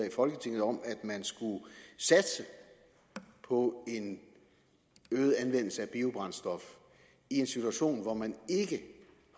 i folketinget om at man skulle satse på en øget anvendelse af biobrændstof i en situation hvor man ikke